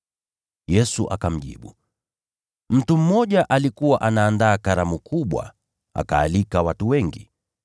Yesu akamjibu, “Mtu mmoja alikuwa anaandaa karamu kubwa, akaalika watu wengi.